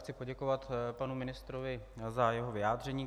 Chci poděkovat panu ministrovi za jeho vyjádření.